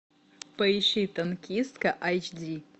поищи танкистка айч ди